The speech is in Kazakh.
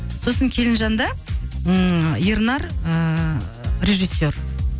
сосын келінжанда ыыы ернар ыыы режиссер